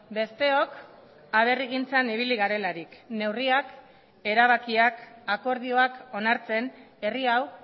besteok aberrigintzan ibili garelarik neurriak erabakiak akordioak onartzen herri hau